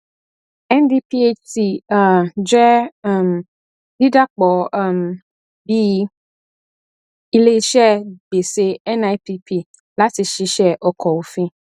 ndphc um jẹ um dídà pọ um bíi iléiṣẹ gbèsè nipp láti ṣiṣẹ ọkọ òfin